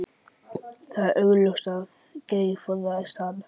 Það var augljóst að Geir forðaðist hann.